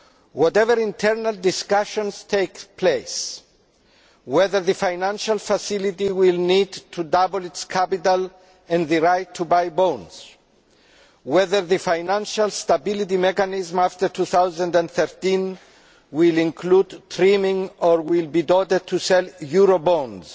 Whatever internal discussions take place, whether the financial facility will need to double its capital and the right to buy bonds, whether the Financial Stability Mechanism after 2013 will include trimming or will be ordered to sell eurobonds,